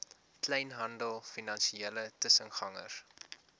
kleinhandel finansiële tussengangers